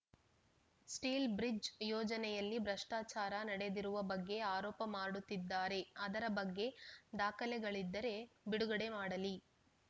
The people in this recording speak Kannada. ಸ್ಟೀಲ್‌ ಬ್ರಿಜ್‌ ಯೋಜನೆಯಲ್ಲಿ ಭ್ರಷ್ಟಾಚಾರ ನಡೆದಿರುವ ಬಗ್ಗೆ ಆರೋಪ ಮಾಡುತ್ತಿದ್ದಾರೆ ಅದರ ಬಗ್ಗೆ ದಾಖಲೆಗಳಿದ್ದರೆ ಬಿಡುಗಡೆ ಮಾಡಲಿ